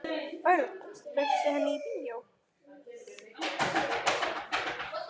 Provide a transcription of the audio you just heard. Örn, bauðstu henni í bíó?